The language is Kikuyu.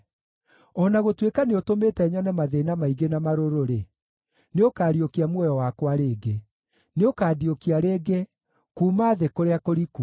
O na gũtuĩka nĩũtũmĩte nyone mathĩĩna maingĩ na marũrũ-rĩ, nĩũkariũkia muoyo wakwa rĩngĩ; nĩũkandiũkia rĩngĩ kuuma thĩ kũrĩa kũriku.